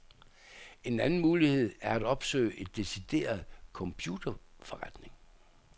En anden mulighed er at opsøge en decideret computerforretning.